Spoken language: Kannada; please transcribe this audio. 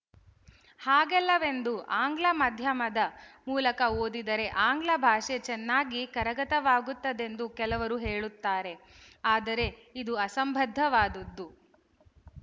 ಹಾಗಲ್ಲವೆಂದು ಆಂಗ್ಲ ಮಾಧ್ಯಮದ ಮೂಲಕ ಓದಿದರೆ ಆಂಗ್ಲ ಭಾಷೆ ಚೆನ್ನಾಗಿ ಕರಗತವಾಗುತ್ತದೆಂದು ಕೆಲವರು ಹೇಳುತ್ತಾರೆ ಆದರೆ ಇದು ಅಸಂಬದ್ಧವಾದದ್ದು